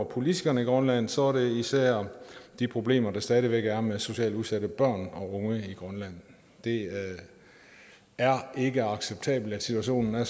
politikerne i grønland så er det især de problemer der stadig væk er med socialt udsatte børn og unge i grønland det er ikke acceptabelt at situationen er